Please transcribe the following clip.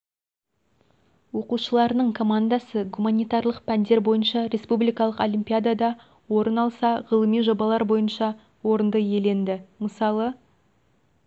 оқушыларының командасы гуманитарлық пәндер бойынша республикалық олимпиадада орын алса ғылыми жобалар бойынша орынды иеленді мысалы